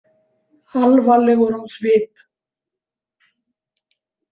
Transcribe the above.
Alvarlegur á svip.